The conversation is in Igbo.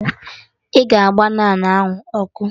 Ị ga-agba naanụ ahụ ọkụ!